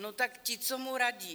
No tak ti, co mu radí.